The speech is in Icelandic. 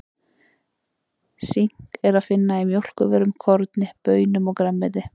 Sink er að finna í mjólkurvörum, korni, baunum og grænmeti.